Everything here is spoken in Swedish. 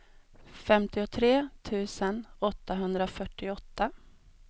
femtiotre tusen åttahundrafyrtioåtta